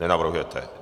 Nenavrhujete.